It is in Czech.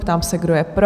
Ptám se, kdo je pro?